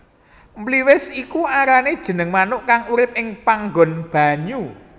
Mliwis iku arane jeneng manuk kang urip ing panggon banyu